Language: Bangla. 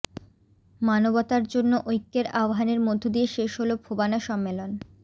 মানবতার জন্য ঐক্যের আহ্বানের মধ্যদিয়ে শেষ হলো ফোবানা সম্মেলন